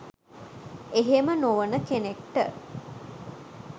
එහෙම නොවන කෙනෙක්ට